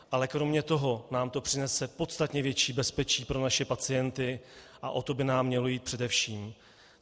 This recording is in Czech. Ale kromě toho nám to přinese podstatně větší bezpečí pro naše pacienty a o to by nám mělo jít především.